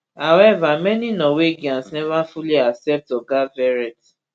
however many norwegians neva fully accept oga verrett